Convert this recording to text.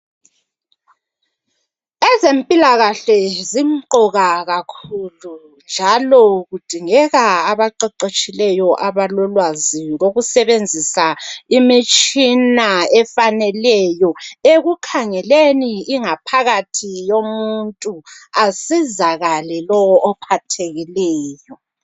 Ezempilakahle zimqoka kakhulu njalo kudingeka abaqeqetshileyo abalolwazi lokusebenzisa imitshina efaneleyo ekukhangeleni ingaphakathi yomuntu asizakale lowo ophathekileyo.